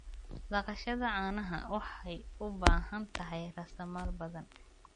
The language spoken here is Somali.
Dhaqashada caanaha waxay u baahan tahay raasamaal badan.